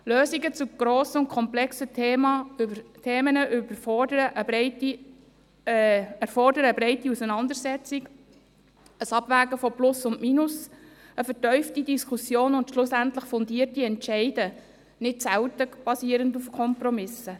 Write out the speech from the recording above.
Lösungen zu grossen und komplexen Themen erfordern eine breite Auseinandersetzung, ein Abwägen von Plus und Minus, eine vertiefte Diskussion und schlussendlich fundierte Entscheidungen, nicht selten basierend auf Kompromissen.